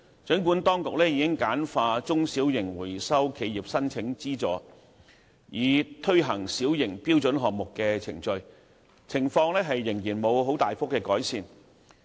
儘管當局已簡化中小型回收企業申請資助，以推行小型標準項目的程序，情況仍然沒有大幅改善。